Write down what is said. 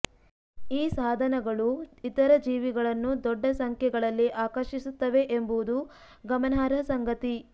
ಈ ಸಾಧನಗಳು ಇತರ ಜೀವಿಗಳನ್ನು ದೊಡ್ಡ ಸಂಖ್ಯೆಗಳಲ್ಲಿ ಆಕರ್ಷಿಸುತ್ತವೆ ಎಂಬುದು ಗಮನಾರ್ಹ ಸಂಗತಿ